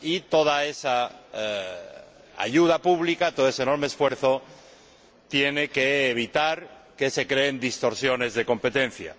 Toda esa ayuda pública, todo ese enorme esfuerzo tiene que evitar que se creen distorsiones de competencia.